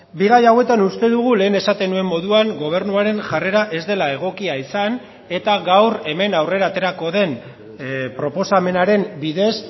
bi gai hauetan uste dugu lehen esaten nuen moduan gobernuaren jarrera ez dela egokia izan eta gaur hemen aurrera aterako den proposamenaren bidez